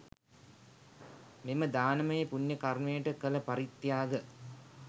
මෙම දානමය පුණ්‍ය කර්මයට කළ පරිත්‍යාග